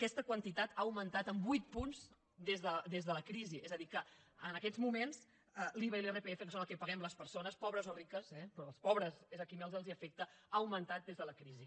aquesta quantitat ha augmentat en vuit punts des de la crisi és a dir que en aquests moments l’iva i l’irpf que és el que paguem les persones pobres o riques eh però als pobres és a qui més els afecten ha augmentat des de la crisi